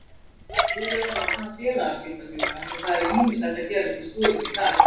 Búið er að opna félagaskiptagluggann og það er ýmislegt að gerast í slúðrinu í dag.